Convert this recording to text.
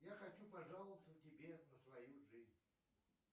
я хочу пожаловаться тебе на свою жизнь